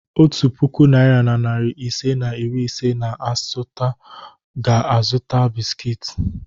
Otu puku naịra na narị ise na iri ise na asatọ ga-azụta bisikiiti.